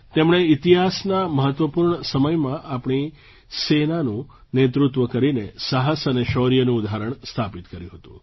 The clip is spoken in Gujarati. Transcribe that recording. તેમણે ઇતિહાસના મહત્ત્વપૂર્ણ સમયમાં આપણી સેનાનું નેતૃત્વ કરીને સાહસ અને શૌર્યનું ઉદાહરણ સ્થાપિત કર્યું હતું